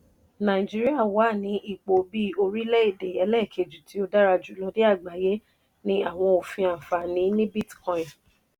nàìjíríà wà ní ipò bí orilẹ-ède ẹlẹ́ẹ̀kejì tí ó dára jùlọ ní àgbáyé ní àwọn òfin ànfàní ní bitcoin.